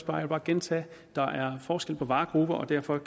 bare gentage at der er forskel på varegrupper og derfor